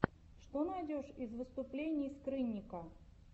что найдешь из выступлений скрынника